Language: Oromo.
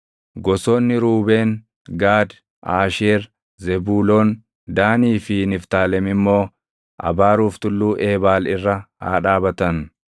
Gosoonni Ruubeen, Gaad, Aasheer, Zebuuloon, Daanii fi Niftaalem immoo abaaruuf Tulluu Eebaal irra haa dhaabatan.